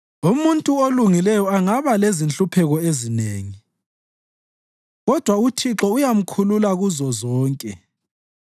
Umuntu olungileyo angaba lezinhlupheko ezinengi, kodwa uThixo uyamkhulula kuzozonke.